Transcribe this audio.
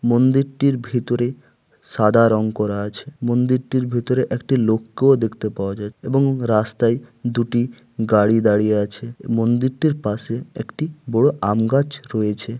মন্দিরটির ভিতরে সাদা রং করা আছে মন্দিরটির ভেতরে একটি লোককেও দেখতে পাওয়া যায় এবং রাস্তায় দুটি গাড়ি দাঁড়িয়ে আছে। এই মন্দিরটির পাশে একটি বড় আম গাছ রয়েছে।